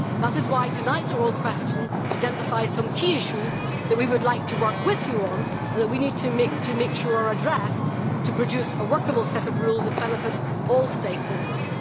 That is why tonight's oral questions identify some key issues that we would like to work with you on, and that we need to make sure are addressed, in order to produce a workable set of rules that benefit all stakeholders.